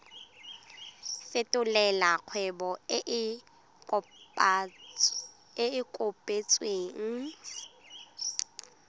fetolela kgwebo e e kopetswengcc